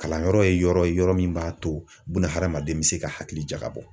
Kalanyɔrɔ ye yɔrɔ ye yɔrɔ min b'a to bunahadamaden bɛ se ka hakili jagabɔ